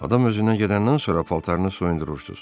Adam özündən gedəndən sonra paltarını soyundurursunuz.